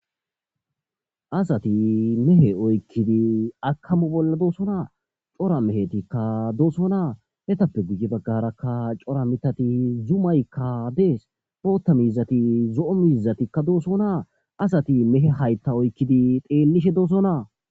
Asati mehe oykid akamo bolla dosona cora mehetika dosona etappe sintha bagara cora mithati zumayka des, bootha mizati zo'o mizatika dosona , asati hayta meheta oykid hemishe detes